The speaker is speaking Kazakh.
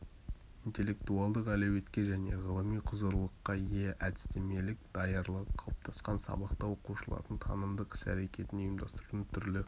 интеллектуалдық әлеуетке және ғылыми құзырлылыққа ие әдістемелік даярлығы қалыптасқан сабақта оқушылардың танымдық іс-рекетін ұйымдастырудың түрлі